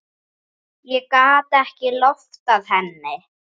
Ég gat ekki loftað henni.